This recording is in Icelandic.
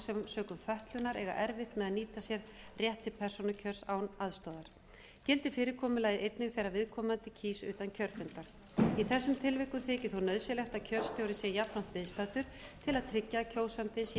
sökum fötlunar eiga erfitt með að nýta sér rétt til persónukjörs án aðstoðar gildir fyrirkomulagið einnig þegar viðkomandi kýs utan kjörfundar í þessum tilvikum þykir þó nauðsynlegt að kjörstjóri sé jafnframt viðstaddur til að tryggja að kjósandinn sé